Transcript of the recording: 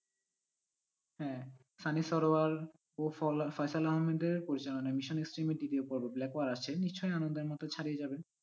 হ্যাঁ সানি সানোয়ার ও ফয়সাল আহমেদ এর পরিচালনায় ব্ল্যাক ওয়ার আসছে নিশ্চই আনন্দের মধ্যে ছাড়িয়ে যাবে।